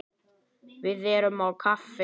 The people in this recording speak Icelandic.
Við erum á kafi.